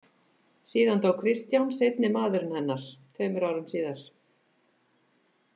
Síðan dó Kristján seinni maðurinn hennar tveimur árum síðar.